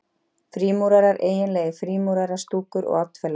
Frímúrarar-eiginlegar frímúrarastúkur og oddfellóar